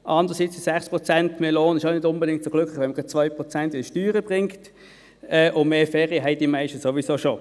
Andererseits machen 6 Prozent mehr Lohn nicht unbedingt so glücklich, wenn dies 2 Prozent mehr Steuern bringt, und mehr Ferien haben die meisten sowieso bereits.